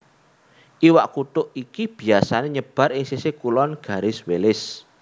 Iwak kutuk iki biyasané nyebar ing sisih kulon Garis Wallace